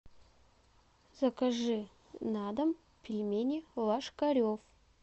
закажи на дом пельмени ложкарев